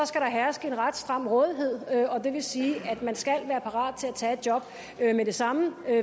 skal der herske en ret stram rådighed og det vil sige at man skal være parat til at tage et job med det samme der